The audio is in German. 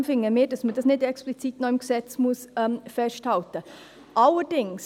Darum finden wir, dass man das nicht noch explizit im Gesetz festhalten muss.